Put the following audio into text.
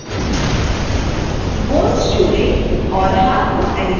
bones जोड़ें और हाथ को एनीमेट करें